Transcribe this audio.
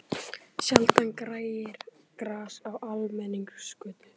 Sjaldan grær gras á almenningsgötu.